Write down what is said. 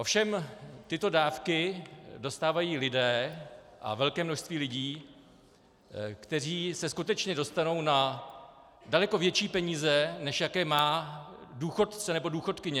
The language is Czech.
Ovšem tyto dávky dostávají lidé, a velké množství lidí, kteří se skutečně dostanou na daleko větší peníze, než jaké má důchodce nebo důchodkyně.